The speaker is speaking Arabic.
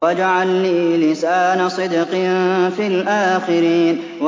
وَاجْعَل لِّي لِسَانَ صِدْقٍ فِي الْآخِرِينَ